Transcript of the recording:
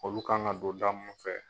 Olu kan ŋa don da mun fɛ